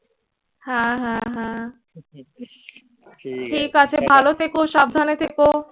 হ্যাঁ হ্যাঁ হ্যাঁ। ঠিক আছে। ভালো থেকো, সাবধানে থেকো।